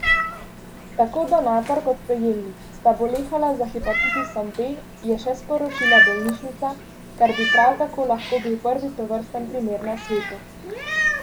Tako donator kot prejemnik sta bolehala za hepatitisom B, je še sporočila bolnišnica, kar bi prav tako lahko bil prvi tovrsten primer na svetu.